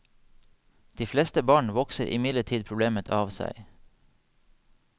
De fleste barn vokser imidlertid problemet av seg.